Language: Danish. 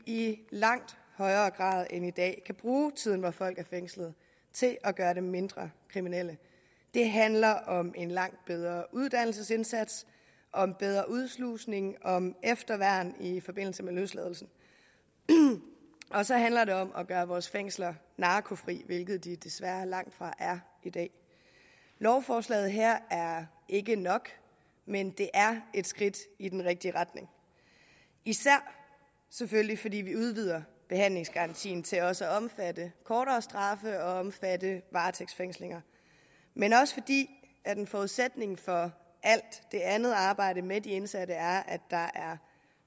i langt højere grad end i dag kan bruge tiden hvor folk er fængslet til at gøre dem mindre kriminelle det handler om en langt bedre uddannelsesindsats om bedre udslusning om efterværn i forbindelse med løsladelse og så handler det om at gøre vores fængsler narkofri hvilket de desværre langtfra er i dag lovforslaget her er ikke nok men det er et skridt i den rigtige retning især selvfølgelig fordi vi udvider behandlingsgarantien til også at omfatte kortere straffe og omfatte varetægtsfængslinger men også fordi en forudsætning for alt det andet arbejde med de indsatte er at der er